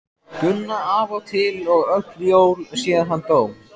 Gunna af og til og öll jól síðan hann dó.